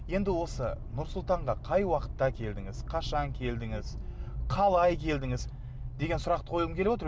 енді осы нұр сұлтанға қай уақытта келдіңіз қашан келдіңіз қалай келдіңіз деген сұрақты қойғым келіп отыр